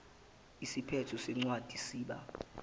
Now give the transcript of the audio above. isiphetho sencwadi siba